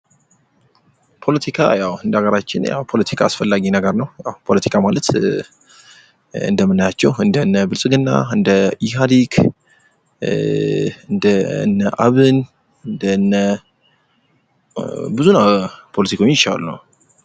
ፖለቲካ የው እንደሀገራችን የው ፓለቲካ አስፈላጊ ነገር ነው ። የው ፖለቲካ ማለት እንደምናያቸው እንደነ ብልፅግና እንደ ኢሃዲግ እንደነ አብን እንደነ ብዙ ነው ፖለቲከኞች ያህል ነው ።